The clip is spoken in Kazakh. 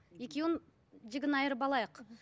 екеуін жігін айырып алайық